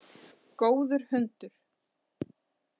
Góður hundur.